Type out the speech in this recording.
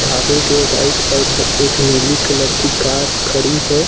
ढाबे के right side में एक नीली कलर की कार खड़ी है।